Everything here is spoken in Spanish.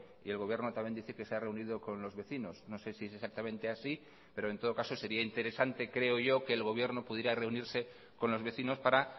y el gobierno también dice que se ha reunido con los vecinos no sé si es exactamente así pero en todo caso sería interesante creo yo que el gobierno pudiera reunirse con los vecinos para